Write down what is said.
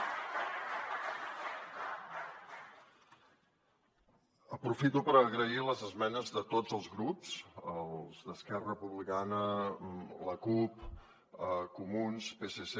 aprofito per agrair les esmenes de tots els grups les d’esquerra republicana la cup comuns psc